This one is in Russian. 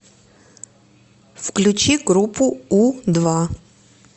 включи группу у два